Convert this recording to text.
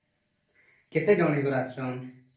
କେତେ ଜଣ ଆସିଛନ୍ତି